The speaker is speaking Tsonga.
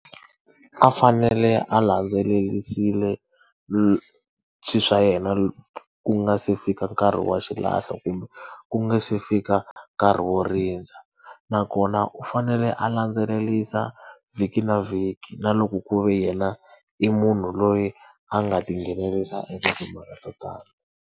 A fanele a landzelerisile swilo swa yena ku nga se fika nkarhi wa xilahlo kumbe ku nga se fika nkarhi wo rindza nakona u fanele a landzelerisa vhiki na vhiki na loko ku ve yena i munhu loyi a nga ti nghenelerisa eka timhaka to .